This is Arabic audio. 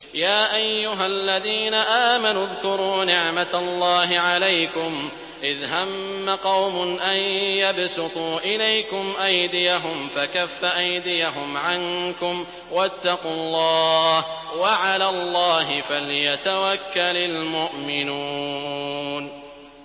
يَا أَيُّهَا الَّذِينَ آمَنُوا اذْكُرُوا نِعْمَتَ اللَّهِ عَلَيْكُمْ إِذْ هَمَّ قَوْمٌ أَن يَبْسُطُوا إِلَيْكُمْ أَيْدِيَهُمْ فَكَفَّ أَيْدِيَهُمْ عَنكُمْ ۖ وَاتَّقُوا اللَّهَ ۚ وَعَلَى اللَّهِ فَلْيَتَوَكَّلِ الْمُؤْمِنُونَ